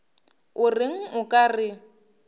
o reng o ka re